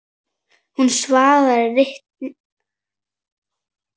Hún svaraði litlu.